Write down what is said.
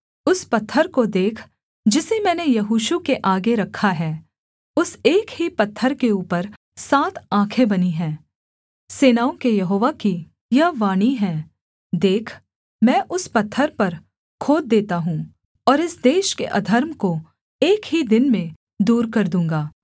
उस पत्थर को देख जिसे मैंने यहोशू के आगे रखा है उस एक ही पत्थर के ऊपर सात आँखें बनी हैं सेनाओं के यहोवा की यह वाणी है देख मैं उस पत्थर पर खोद देता हूँ और इस देश के अधर्म को एक ही दिन में दूर कर दूँगा